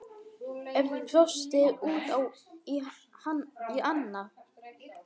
Örn brosti út í annað.